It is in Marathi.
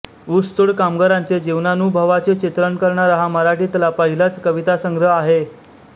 ऊसतोड कामगारांचे जीवनानुभवाचे चित्रण करणारा हा मराठीतला पहिलाच कवितासंग्रह आहे